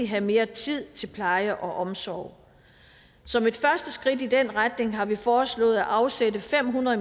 have mere tid til pleje og omsorg som et første skridt i den retning har vi foreslået at afsætte fem hundrede